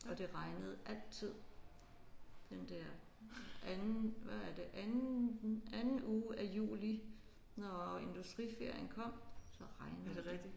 Og det regnede altid den der anden hvad er det anden anden uge af juli når industriferien kom så regnede det